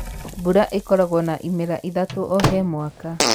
mbura ĩkoragwo na ĩmera ithatũ o he mwaka